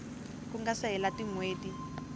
ku nga se hela tinhweti